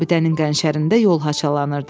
Abidənin qənşərində yol haçalanırdı.